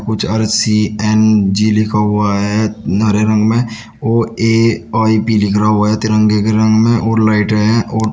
कुछ और सी_एन_जी लिखा हुआ है हरे रंग में और ए_आई_पी लिख रहा हुआ है तिरंगे के रंग में और लाइटें हैं और--